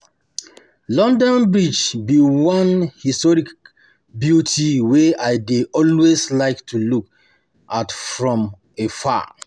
London bridge be one historic beauty wey I dey always like to look at from afar